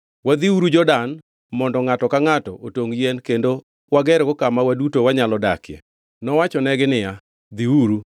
Wadhiuru Jordan mondo ngʼato ka ngʼato otongʼ yien kendo wagergo kama waduto wanyalo dakie.” Nowachonegi niya, “Dhiuru.”